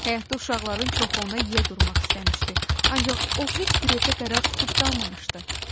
Həyətdə uşaqların çoxu ona yiyə durmaq istəmişdi, ancaq o heç bir evdə qərar tutub qalmamışdı.